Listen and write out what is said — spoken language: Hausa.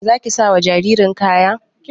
Za ki sa wa jaririn kaya?